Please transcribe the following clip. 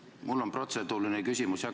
Jah, mul on protseduuriline küsimus.